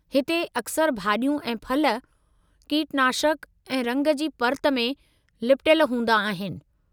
हिते अक्सर भाॼियूं ऐं फल कीटनाशक ऐं रंग जी पर्त में लिपटयल हूंदा आहिनि।